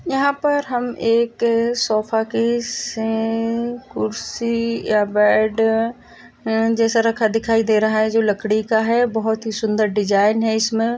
यहाँ पर हम एक सोफ़ा की सी कुर्सी या बेड रखा हुवा दिखाई दे रहा है जो लकड़ी का है बहुत सुंदर डिजाइन है इसमे।